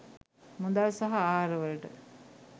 මුදල් සහ ආහාර වලට.